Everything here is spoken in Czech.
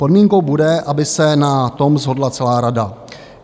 Podmínkou bude, aby se na tom shodla celá Rada.